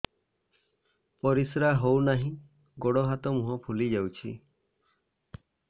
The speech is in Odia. ପରିସ୍ରା ହଉ ନାହିଁ ଗୋଡ଼ ହାତ ମୁହଁ ଫୁଲି ଯାଉଛି